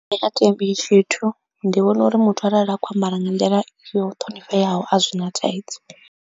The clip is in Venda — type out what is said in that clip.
Nṋe a thi ambi tshithu ndi vhona uri muthu arali a khou ambara nga nḓila yo ṱhonifheaho a zwi na thaidzo.